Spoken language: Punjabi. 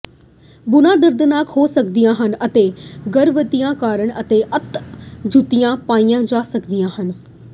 ਬੂਨਾਂ ਦਰਦਨਾਕ ਹੋ ਸਕਦੀਆਂ ਹਨ ਅਤੇ ਗਤੀਵਿਧੀਆਂ ਕਰਕੇ ਅਤੇ ਤੰਗ ਜੁੱਤੀਆਂ ਪਾਈ ਜਾ ਸਕਦੀਆਂ ਹਨ